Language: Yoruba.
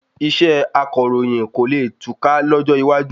Iṣẹ́ akọ̀ròyìn kò le kùtà lọ́jọ́ iwájú